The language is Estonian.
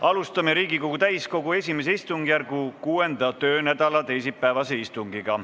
Alustame Riigikogu täiskogu I istungjärgu 6. töönädala teisipäevast istungit.